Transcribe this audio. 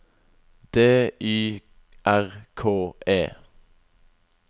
D Y R K E